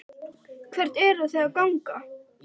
Símon Birgisson: Hvert eruð þið að ganga?